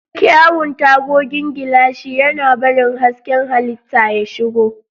Kyawun tagogin gilashi, yana barin hasken halitta ya shigo.